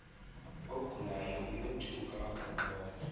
ogulayo uyothuka akumbona